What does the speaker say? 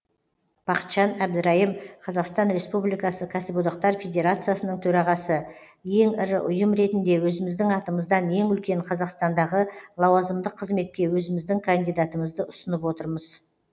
бақытжан әбдірайым қазақстан республикасы кәсіподақтар федерациясының төрағасы ең ірі ұйым ретінде өзіміздің атымыздан ең үлкен қазақстандағы лауазымдық қызметке өзіміздің кандидатымызды ұсынып отырмыз